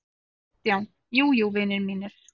KRISTJÁN: Jú, jú, vinir mínir!